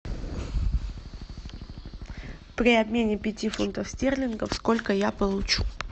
при обмене пяти фунтов стерлингов сколько я получу